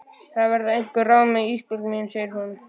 Það verða einhver ráð með það Ísbjörg mín, segir hún.